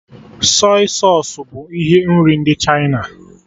Sọy sausụ bụ ihe nri ndị Chịna